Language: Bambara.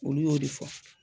Olu y'o de fɔ